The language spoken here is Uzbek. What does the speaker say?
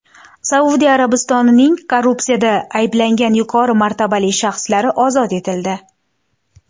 Saudiya Arabistonining korrupsiyada ayblangan yuqori martabali shaxslari ozod etildi.